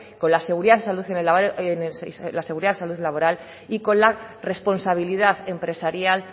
con la seguridad y salud laboral y con la responsabilidad empresarial